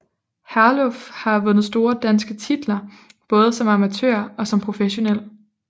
Herluf har vundet store danske titler både som amatør og som professionel